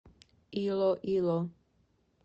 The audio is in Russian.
илоило